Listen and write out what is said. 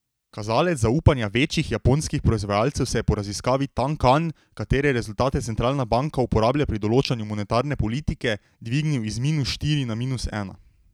Kazalec zaupanja večjih japonskih proizvajalcev se je po raziskavi tankan, katere rezultate centralna banka uporablja pri določanju monetarne politike, dvignil iz minus štiri na minus ena.